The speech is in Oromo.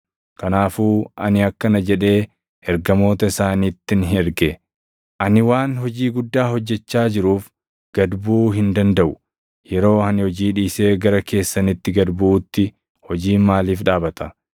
kanaafuu ani akkana jedhee ergamoota isaanittin erge; “Ani waan hojii guddaa hojjechaa jiruuf gad buʼuu hin dandaʼu. Yeroo ani hojii dhiisee gara keessanitti gad buʼuutti hojiin maaliif dhaabata?”